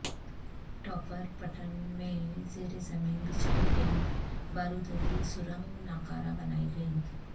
topper پٹن میں زیر زمین بچھائی گئی بارودری سرنگ ناکارہ بنائی گئی